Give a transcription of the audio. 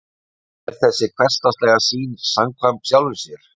En er þessi hversdagslega sýn samkvæm sjálfri sér?